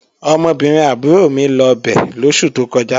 Ọmọbìnrin àbúrò mi lọ bẹ̀ lóṣù tó kọjá